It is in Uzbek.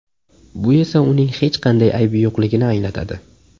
Bu esa uning hech qanday aybi yo‘qligini anglatadi.